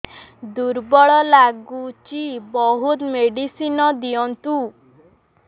ଦୁର୍ବଳ ଲାଗୁଚି ବହୁତ ମେଡିସିନ ଦିଅନ୍ତୁ